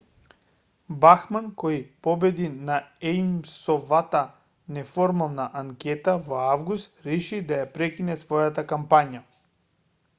бахман која победи на ејмсовата неформална анкета во август реши да ја прекине својата кампања